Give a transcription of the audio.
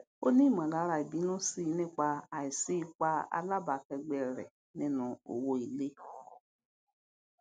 ó nímọlára ìbínú sí i nípa àìsí ipa alábàákẹgbẹ rẹ nínú owó ilé